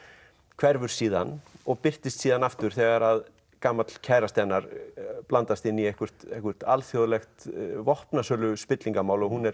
hverfur síðan og birtist síðan aftur þegar gamall kærasti hennar blandast inn í eitthvert eitthvert alþjóðlegt vopnasöluspillingarmál og hún er